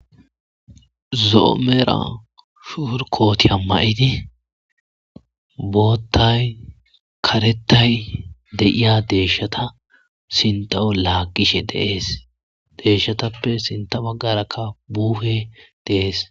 Zo'o medhdha porikotiya mayir boththay kareththay de'iya deshshaththa sinththawu lagishshe de'es deshshaththappekka sinthe bagara buhe de'es.